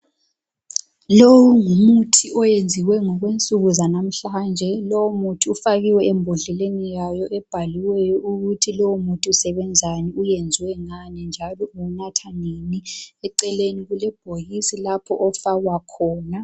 lo ngumuthi owenziwe ngokwensuku zanamuhlanje lowu muthi ufakiwe embodleleni yayo ebhaliweyo ukuthi lowo muthi usebenzani u wenziwe ngani njalo uwunatha nini eceleni kulebhokisi lapho ofakwa khona